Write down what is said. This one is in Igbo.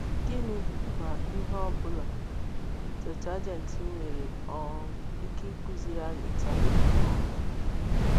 Gịnị, ma ihe ọbụla, Septụaginti nwere um ike ịkụziri anyị taa um?